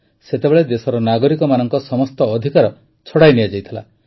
ସେତେବେଳେ ଦେଶର ନାଗରିକମାନଙ୍କ ସମସ୍ତ ଅଧିକାର ଛଡ଼ାଇ ନିଆଯାଇଥିଲା